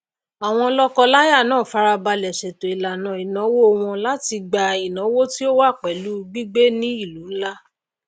àwọn lókọ láyà náà farabalè sètò ìlànà ìnáwó wọn láti gba ìnáwó tí ó wá pèlú gbígbé ní ìlú nlá